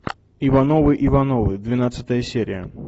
ивановы ивановы двенадцатая серия